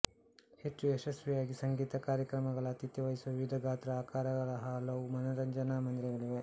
ಹೆಚ್ಚು ಯಶಸ್ವಿಯಾಗಿ ಸಂಗೀತ ಕಾರ್ಯಕ್ರಮಗಳ ಆತಿಥ್ಯ ವಹಿಸುವ ವಿವಿಧ ಗಾತ್ರ ಆಕಾರಗಳ ಹಲವು ಮನರಂಜನಾ ಮಂದಿರಗಳಿವೆ